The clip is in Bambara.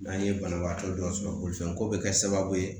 N'an ye banabagatɔ dɔ sɔrɔ bolifɛnko bɛ kɛ sababu ye